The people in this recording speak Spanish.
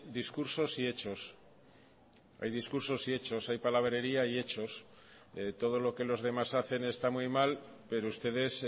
discursos y hechos hay discursos y hechos hay palabrería y hechos todo lo que los demás hacen está muy mal pero ustedes